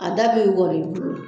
A da bɛ walon i bolo